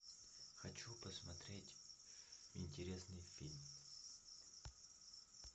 хочу посмотреть интересный фильм